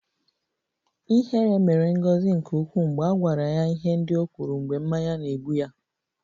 Ihere mere Ngozi nke ukwuu mgbe a gwara ya ihe ndị o kwuru mgbe mmanya na-egbu ya